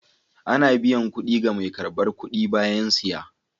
Ana biyan kuɗi ga mai karɓar kuɗi bayan siya.